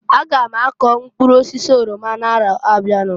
A ga m akọ mkpụrụ osisi orama na arọ na abịa.